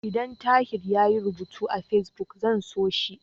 Idan Tahir yayi rubutu a Fesbuk, zan so shi.